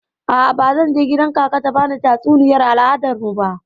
A'a, bazan je kgidan kaka ta bani tatsuniyar al'adar mu ba.